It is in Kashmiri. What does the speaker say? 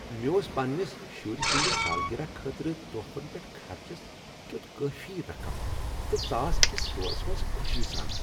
مےٚ اوس پننِس شُرۍ سٕندِ سالگِرہ خٲطرٕ تحفن پیٹھ خرچس کیُت کٲفی رقم تہٕ ژاس أکس سٹورس منٛز خوشی سان۔